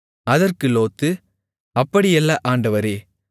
அதற்கு லோத்து அப்படியல்ல ஆண்டவரே